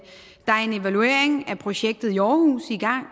en evaluering af projektet i aarhus i gang og